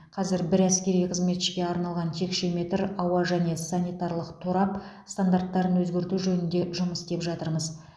қазір бір әскери қызметшіге арналған текше метр ауа және санитарлық торап стандарттарын өзгерту жөнінде жұмыс істеп жатырмыз